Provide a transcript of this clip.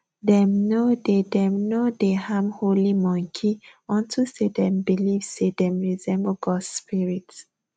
dem no dey dem no dey harm holy monkey unto say dem believe say dem resemble gods spirit